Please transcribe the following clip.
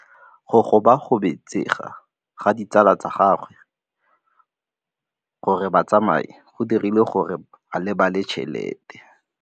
Go gobagobetsa ga ditsala tsa gagwe, gore ba tsamaye go dirile gore a lebale tšhelete.